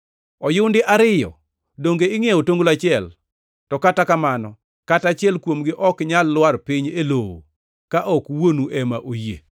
Oyundi ariyo donge ingʼiewo otonglo achiel? To kata kamano kata achiel kuomgi ok nyal lwar piny e lowo ka ok Wuonu ema oyie.